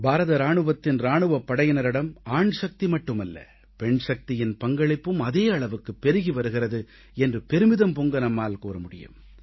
பாரத இராணுவத்தின் இராணுவப் படையினரிடம் ஆண் சக்தி மட்டுமல்ல பெண் சக்தியின் பங்களிப்பும் அதே அளவுக்கு பெருகி வருகிறது என்று பெருமிதம் பொங்க நம்மால் கூற முடியும்